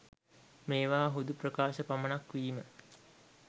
මේවා හුදු ප්‍රකාශ පමණක් වීම